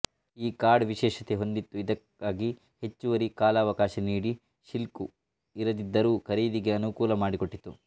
ಈ ಕಾರ್ಡ್ ವಿಶೇಷತೆ ಹೊಂದಿತ್ತುಇದಕ್ಕಾಗಿ ಹೆಚ್ಚುವರಿ ಕಾಲಾವಕಾಶ ನೀಡಿ ಶಿಲ್ಕು ಇರದಿದ್ದರೂ ಖರೀದಿಗೆ ಅನುಕೂಲ ಮಾಡಿಕೊಟ್ಟಿತು